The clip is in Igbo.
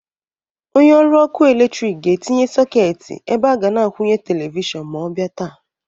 Onye ọrụ ọkụ eletrik ga-etinye sọketị ebe a ga na-akwụnye televishọn ma ọ bịa taa.